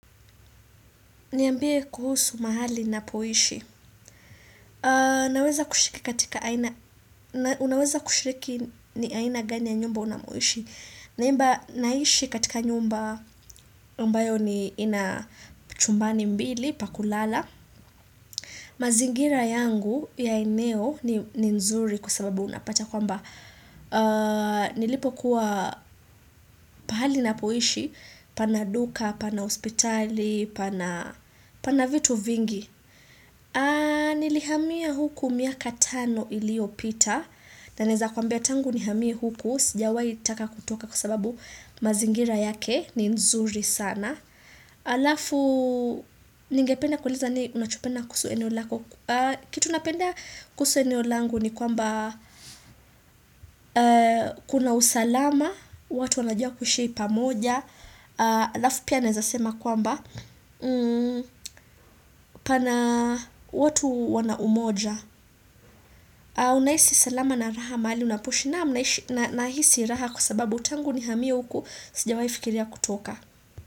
Niambie kuhusu mahali ninapoishi. Naweza kushiriki katika aina. Unaweza kushiriki ni aina gani ya nyumba unamoishi. Naimba naishi katika nyumba. Ambayo ni ina chumbani mbili pakulala. Mazingira yangu ya eneo ni nzuri kwa sababu unapata kwamba. Nilipokuwa pahali ninapoishi. Pana duka, pana hospitali, pana vitu vingi. Nilihamia huku miaka tano iliyoita. Na naeza kuambia tangu nihamie huku. Sijawaitaka kutoka kwa sababu mazingira yake. Ni nzuri sana. Alafu. Ningependa kueleza nini unachopenda kuhusu eneo lako. Kitu napenda kusu eneo langu ni kwamba kuna usalama. Watu wanajua kuishi pamoja. Alafu pia naeza sema kwamba. Pana watu wana umoja. Unahisi salama na raha mahali unapoishi naam nahisi raha kwa sababu tangu nihamie huku sijawai fikiria kutoka.